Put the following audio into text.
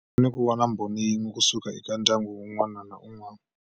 Fanele ku va na mbhoni yin'we ku suka eka ndyangu wun'wana na wun'wana.